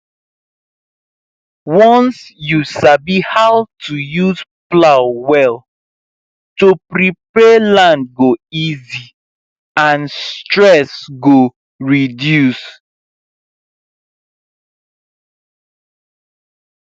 once you sabi how to use plow well to prepare land go easy and stress go reduce